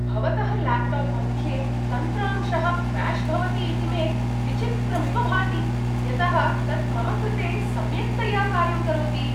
भवतः ल्याप्टाप् मध्ये तन्त्रांशः क्र्याश् भवति इति मे विचित्रमिव भाति, यतः तत् मम कृते सम्यक्तया कार्यं करोति।